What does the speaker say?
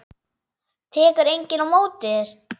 Tekur enginn á móti þér?